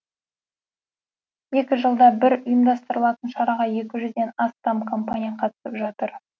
екі жылда бір ұйымдастырылатын шараға екі жүзден астам компания қатысып жатыр